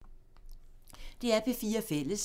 DR P4 Fælles